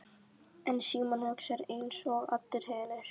En Símon hugsar einsog allir hinir.